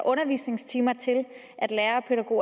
undervisningstimer til at lærere